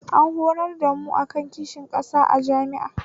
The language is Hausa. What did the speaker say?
An horar da mu akan kishin ƙasa a jami'a